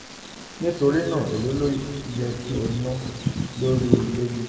nitorina um elo lowo to ye ki o na lori ile gbigbe? um